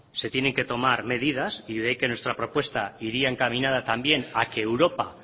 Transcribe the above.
se tienen que tomar medidas y de ahí que nuestra propuesta iría encaminada también a que europa